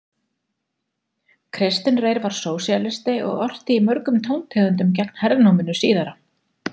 Kristinn Reyr var sósíalisti og orti í mörgum tóntegundum gegn hernáminu síðara.